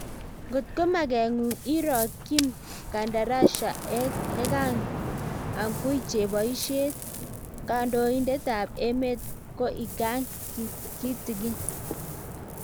ndot ke makenguun iro Kim Kardashian ekang angui cheboiset kondoindet ab emee ko ikang kitikiiin